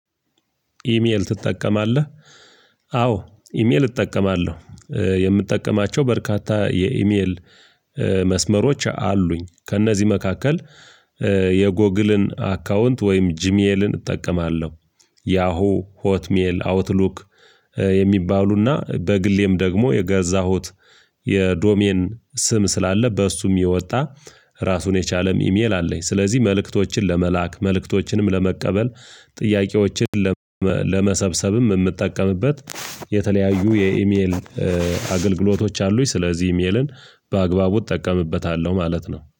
ኢሜል ትጠቀማለህ? አዎ ኢሜል እጠቀማለሁ። የምጠቀማቸው በርካታ የኢሜል መስመሮች አሉኝ ከእነዚህ መካከል። የጎግልን አካውንት ወይም ጂሜልን እጠቀማለሁ ያሆ፣ ሆትሜል፣ አውትሉክ። የሚባሉና በግሌም ደግሞ የገዛሁት የዶሜን ስም ስላለ በእሱም የወጣ ራሱን የቻለም ኢሜል አለኝ። ስለዚህ መልእክቶችን ለመላክ መልእክቶችንም ለመቀበል ጥያቄዎችን ለመሰብሰብም እምጠቀምበት የተለያዩ የኢሜል አገልግሎቶች አሉኝ። ስለዚህ ኢሜልን በአግባቡ እጠቀምበታለሁ ማለት ነው